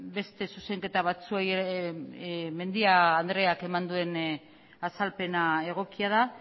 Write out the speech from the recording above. beste zuzenketa batzuei mendia andreak eman duen azalpena egokia da